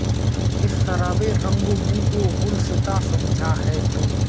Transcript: اس سراب رنگ و بو کو گلستاں سمجھا ہے تو